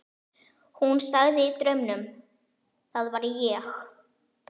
Hún sagði í draumnum: Það var ég.